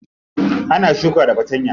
Ana shuka da fatanya.